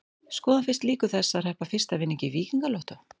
Skoðum fyrst líkur þess að hreppa fyrsta vinning í Víkingalottó.